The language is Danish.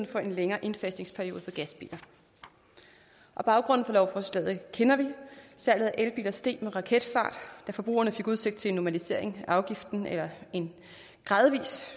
for en længere indfasningsperiode for gasbiler baggrunden for lovforslaget kender vi salget af elbiler steg med raketfart da forbrugerne fik udsigt til en normalisering af afgiften eller en gradvis